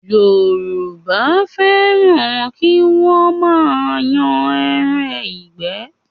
Yorùbá fẹ́ràn kí wọ́n máa yan ẹran ìgbẹ́